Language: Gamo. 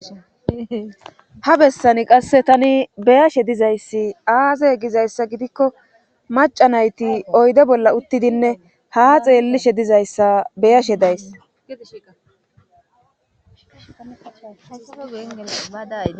Ha bessani qasse tani beyashe dizayssi aazey gizayssa gidikko maca nayti oyde bolla uttidinne ha xeellishe dizayssa beyashe daysshaa.